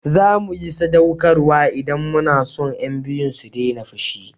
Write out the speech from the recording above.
zamu yi sadaukarwa in mu na son yan biyun su dena fushi